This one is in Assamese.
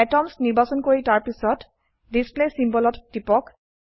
এটমছ নিৰ্বাচন কৰি তাৰপিছত ডিছপ্লে symbolত টিপক